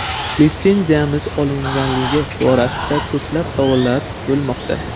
Litsenziyamiz olinganligi borasida ko‘plab savollar bo‘lmoqda.